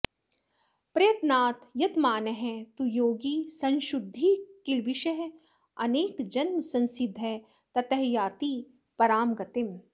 प्रयत्नात् यतमानः तु योगी संशुद्धकिल्बिषः अनेकजन्मसंसिद्धः ततः याति परां गतिम्